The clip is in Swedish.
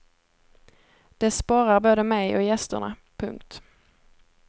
Det sporrar både mig och gästerna. punkt